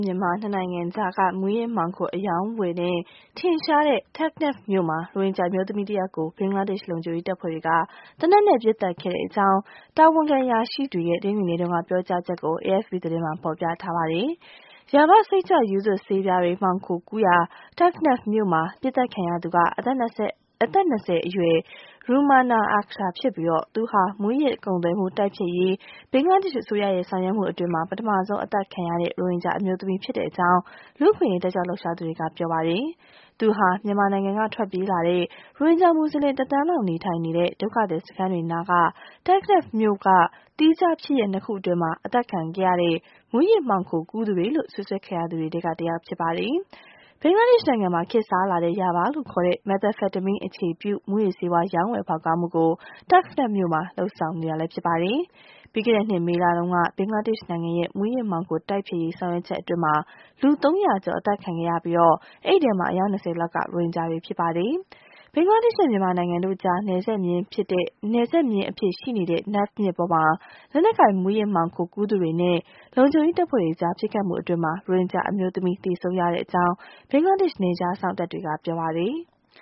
မြန်မာ ၂ နိုင်ငံကြားက မူးယစ်မှောင်ခို အရောင်းဝယ်နဲ့ ထင်ရှားတဲ့ Teknaf မြို့မှာ ရိုဟင်ဂျာအမျိုးသမီးတယောက်ကို ဘင်္ဂလားဒေ့ရှ် လုံခြုံရေးတပ်ဖွဲ့တွေက သေနတ်နဲ့ ပစ်သတ် ခဲ့ကြောင်း တာဝန်ခံ အရာရှိတွေရဲ့ တနင်္ဂနွေနေ့က ပြောကြားချက်ကို AFP သတင်းမှာ ဖော်ပြထားပါတယ်။ Yaba စိတ်ကြွရူးသွပ်ဆေးပြားတွေ မှောင်ခိုကူးရာ Teknaf မြို့မှာ ပစ်သတ်ခံရသူဟာ အသက် ၂၀ အရွယ် Rumana Akter ဖြစ်ပြီး သူဟာ မူးယစ်ကုန်သွယ်မှုတိုက်ဖျက်ရေး ဘင်္ဂလားဒေ့ရှ်အစိုးရရဲ့ ဆောင်ရွက်မှုအတွင်း ပထမဆုံးအသတ်ခံရတဲ့ ရိုဟင်ဂျာအမျိုးသမီးဖြစ်ကြောင်း လူ့အခွင့်အရေး တက်ကြွလှုပ်ရှားသူတွေက ပြောပါတယ်။ သူဟာ မြန်မာနိုင်ငံကထွက်ပြေးလာတဲ့ ရိုဟင်ဂျာမူဆလင် ၁ သန်းလောက်နေထိုင်နေတဲ့ ဒုက္ခသည်စခန်းတွေနားက Teknaf မြို့က သီးခြားဖြစ်ရပ် ၂ ခု အတွင်း အသတ်ခံရတဲ့ မူးယစ်မှောင်ခိုကူးသူတွေလို့ စွပ်စွဲခံရသူတွေထဲက တယောက် ဖြစ်ပါတယ်။ ဘင်္ဂလားဒေ့ရှ်နိုင်ငံမှာ ခေတ်စားလာတဲ့ Yaba လို့ခေါ်တဲ့ Methamphetamine အခြေပြု မူးယစ်ဆေးဝါး ရောင်းဝယ်ဖောက်ကားမှုကို Teknaf မြို့မှာ ဆောင်ရွက်နေတာပါ။ ပြီးခဲ့တဲ့နှစ် မေလတုန်းက ဘင်္ဂလားဒေ့ရှ်နိုင်ငံရဲ့ မူးယစ်မှောင်ခိုတိုက်ဖျက်ရေး ဆောင်ရွက်ချက်အတွင်းမှာ လူ ၃၀၀ ကျော် အသတ်ခံခဲ့ရပြီး ဒီထဲက အယောက် ၂၀ လောက်က ရိုဟင်ဂျာ တွေ ဖြစ်ပါတယ်။ ဘင်္ဂလားဒေ့ရှ်နဲ့ မြန်မာနိုင်ငံတို့ကြား နယ်ခြားမျဉ်းအဖြစ် ရှိနေတဲ့ Naf မြစ်ပေါ်မှာ လက်နက်ကိုင်မူးယစ်မှောင်ခိုကူးသူတွေနဲ့ လုံခြုံရေးတပ်ဖွဲ့တွေကြား ပစ်ခတ်မှုအတွင်းမှာ ရိုဟင်ဂျာအမျိုးသမီး သေဆုံးရကြောင်း ဘင်္ဂလားဒေ့ရှ် နယ်ခြားစောင့်တပ်တွေက ပြောပါတယ်။